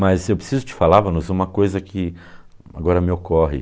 Mas eu preciso te falava-nos , uma coisa que agora me ocorre.